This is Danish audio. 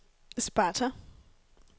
Sparta